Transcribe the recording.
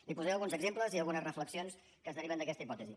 li posaré alguns exemples i algunes reflexions que es deriven d’aquesta hipòtesi